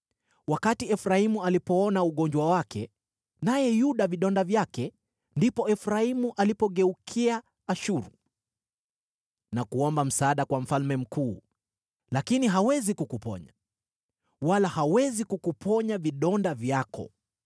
“Wakati Efraimu alipoona ugonjwa wake, naye Yuda vidonda vyake, ndipo Efraimu alipogeukia Ashuru, na kuomba msaada kwa mfalme mkuu. Lakini hawezi kukuponya, wala hawezi kukuponya vidonda vyako.